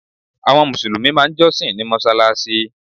Àwọn mùsùlùmí máà ń jọ́sìn ní mọ́sálásí.